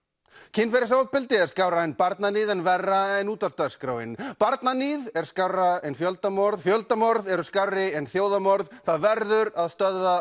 kynferðisofbeldi er skárra en barnaníð en verra en útvarpsdagskráin barnaníð er skárra en fjöldamorð fjöldamorð eru skárri en þjóðarmorð það verður að stöðva